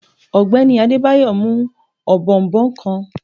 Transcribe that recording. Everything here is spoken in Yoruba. Ogbeni Adebayo mu òbòònbòn kan.